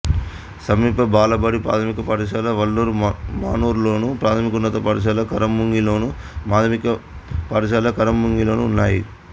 సమీప బాలబడి ప్రాథమిక పాఠశాల వల్లూర్ మానూరులోను ప్రాథమికోన్నత పాఠశాల ఖరముంగిలోను మాధ్యమిక పాఠశాల ఖరముంగిలోనూ ఉన్నాయి